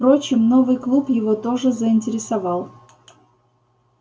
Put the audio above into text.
впрочем новый клуб его тоже заинтересовал